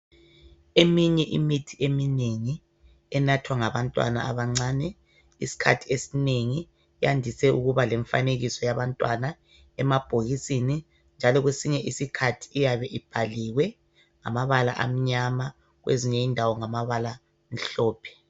Eminye imithi eminengi enathwa ngabantwana abancane iskhathi esinengi yandise ukuba lemfanekiso yabantwana emabhokisini njalo kwesinye isikhathi iyabe ibhaliwe ngamabala amnyama kwezinye indawo ngamabala amhlophe.